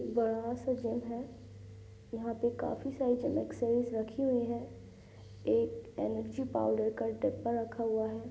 एक बड़ा सा जिम है| यहाँ पे काफी सारी जिम एक्सेसरीज रखी हुई है| एक एनर्जी पाउडर का डिब्बा रखा हूआ है।